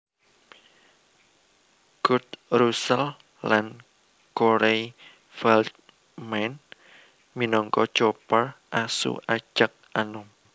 Kurt Russell lan Corey Feldman minangka Copper asu ajag anom